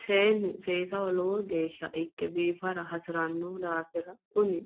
Seennu seesaho lowo geesha ikke biiffara hasiranno daaffira kunni